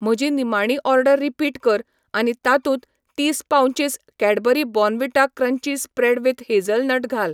म्हजी निमाणी order repeat कर आनी तातूंत तीस पाउंचीस Cadbury Bournvita crunchy spread with hazelnut घाल